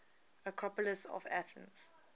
acropolis of athens